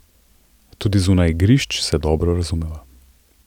Tudi zunaj igrišč se dobro razumeva.